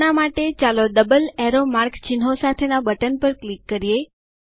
હમણાં માટે ચાલો ડબલ એરો માર્ક ચિહ્નો સાથેના બટન પર ક્લિક કરીએ